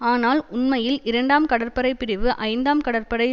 ஆனால் உண்மையில் இரண்டாம் கடற்படைப்பிரிவு ஐந்தாம் கடற்படை